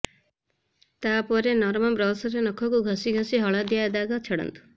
ତାପରେ ନରମ ବ୍ରଶରେ ନଖକୁ ଘସି ଘସି ହଳଦିଆ ଦାଗ ଛଡାନ୍ତୁ